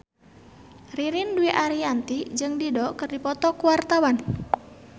Ririn Dwi Ariyanti jeung Dido keur dipoto ku wartawan